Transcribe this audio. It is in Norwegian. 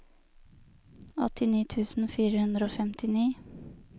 åttini tusen fire hundre og femtini